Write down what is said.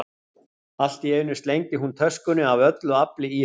Allt í einu slengdi hún töskunni af öllu afli í hann.